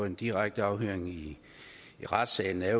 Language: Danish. en direkte afhøring i retssalen er